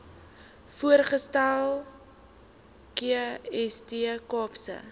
voorvoegsel kst kaapse